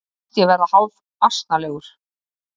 Mér fannst ég verða hálfasnalegur.